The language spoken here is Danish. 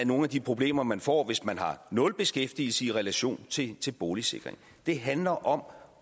nogle af de problemer man får hvis man har nul beskæftigelse i relation til til boligsikring det handler om